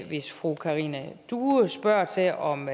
hvis fru karina due spørger til om